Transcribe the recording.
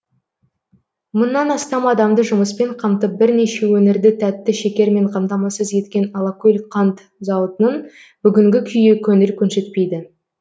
мыңнан астам адамды жұмыспен қамтып бірнеше өңірді тәтті шекермен қамтамасыз еткен алакөл қант зауытының бүгінгі күйі көңіл көншітпейді